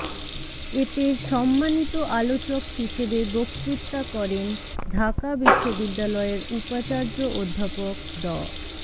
এতে সম্মানিত আলোচক হিসেবে বক্তৃতা করেন ঢাকা বিশ্ববিদ্যালয়ের উপাচার্য অধ্যাপক ড